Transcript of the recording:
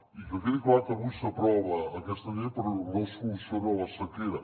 i que quedi clar que avui s’aprova aquesta llei però no soluciona la sequera